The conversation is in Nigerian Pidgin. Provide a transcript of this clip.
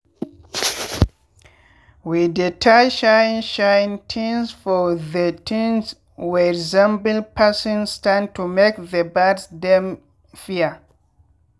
we dey tie shine shine tins for the thing wey resemble person stand to make the birds dem fear.